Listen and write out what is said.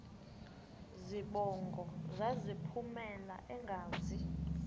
zibongo zazlphllmela engazi